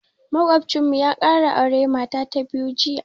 Maƙocinmu ya ƙara auren mata ta biyu jiya.